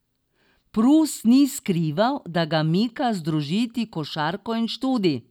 Prus ni skrival, da ga mika združiti košarko in študij.